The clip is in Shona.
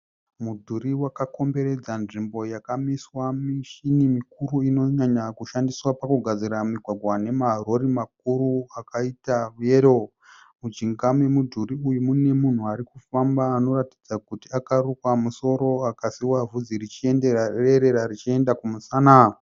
Mudhuri wakakomberedza nzvimbo yakamiswa mishini mikuru inonyanya kushandiswa pakugadzira migwagwa nemarori makuru akaita yero. Mujinga memudhuri uyu mune munhu ari kufamba anoratidza kuti akarukwa musoro akasiiwa bvudzi richierera richienda kumusana.